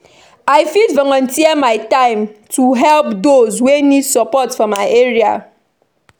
I fit volunteer my time to help those wey need support for my area.